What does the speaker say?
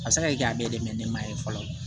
A bɛ se ka kɛ a bɛ dɛmɛ mɛn ne ma ye fɔlɔ